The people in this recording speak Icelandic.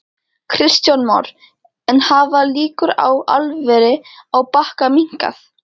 Kristján Már: En hafa líkur á álveri á Bakka minnkað?